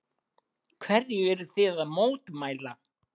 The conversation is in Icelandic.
Hverju eruð þið að mótmæla?